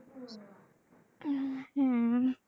হম হম